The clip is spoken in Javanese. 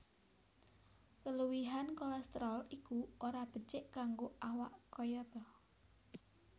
Keluwihan kolésterol iku ora becik kanggo awak kayata